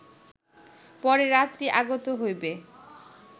পরে রাত্রি আগত হইবে